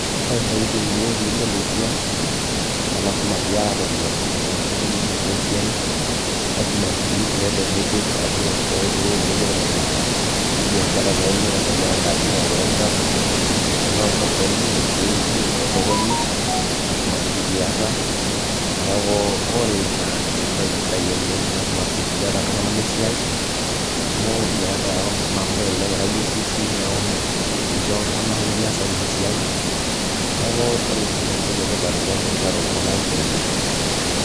ore intokitin niyieu piibol esiai naa lasima piata iropiyiani naduo ninterunyie enaduo siai lasima sii peeta enipik ashu peeta ewueji nipik nena ina biashara naa ino enaa enkaji nairenta tenaa osokoni ewueji ibuk tosokoni lasima sii piata neeku ore ina naa entoki sidai oleng lasima sii piata iltung'anak lesiai amu kelelek ira yie busy neeku incho iltung'anak likiasaki iyie esiai niaku ore ina naa entoki etipat oleng teniteru iltung'anak isiaitin.